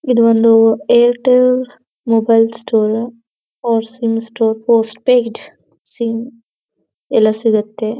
ಇದೊಂದು Airtel mobile store four G sim postpaid sim ಎಲ್ಲ ಸಿಗುತ್ತೆ.